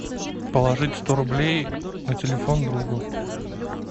положить сто рублей на телефон другу